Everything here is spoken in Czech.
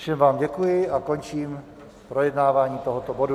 Všem vám děkuji a končím projednávání tohoto bodu.